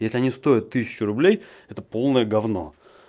если они стоят тысячу рублей это полное говно